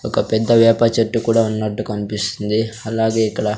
ఒక పెద్ద వేప చెట్టు కూడా ఉన్నట్టు కన్పిస్తుంది అలాగే ఇక్కడా --